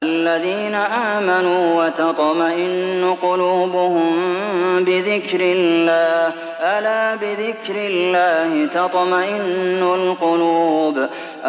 الَّذِينَ آمَنُوا وَتَطْمَئِنُّ قُلُوبُهُم بِذِكْرِ اللَّهِ ۗ أَلَا بِذِكْرِ اللَّهِ تَطْمَئِنُّ الْقُلُوبُ